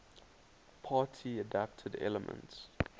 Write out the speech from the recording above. party adapted elements